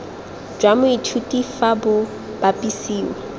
jwa moithuti fa bo bapisiwa